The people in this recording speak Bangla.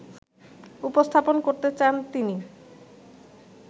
উপস্থাপন করতে চান তিনি